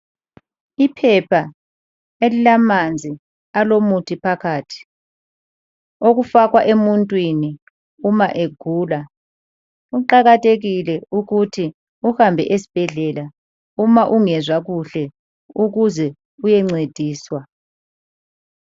Iphepha elilamanzi alomuthi phakathi okufakwa emuntwini uma egula. Kuqakathekile ukuthi uhambe esibhedlela uma ungezwa kuhle ukuze uyencediswa.